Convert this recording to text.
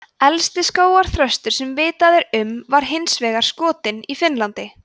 elsti skógarþröstur sem vitað er um var hins vegar skotinn í finnlandi